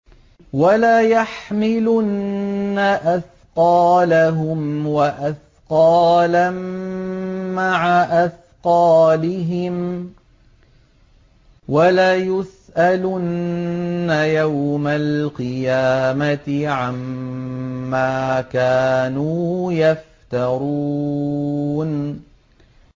وَلَيَحْمِلُنَّ أَثْقَالَهُمْ وَأَثْقَالًا مَّعَ أَثْقَالِهِمْ ۖ وَلَيُسْأَلُنَّ يَوْمَ الْقِيَامَةِ عَمَّا كَانُوا يَفْتَرُونَ